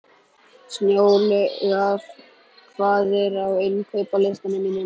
Snjólaugur, hvað er á innkaupalistanum mínum?